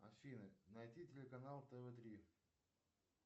афина найди телеканал тв три